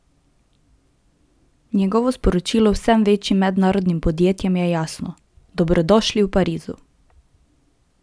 Njegovo sporočilo vsem večjim mednarodnim podjetjem je jasno: "Dobrodošli v Parizu!